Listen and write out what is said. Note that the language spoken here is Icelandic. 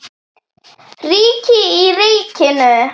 Ríki í ríkinu?